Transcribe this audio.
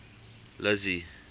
lizzy